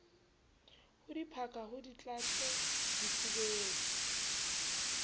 ho diphaka ho dihlathe difubeng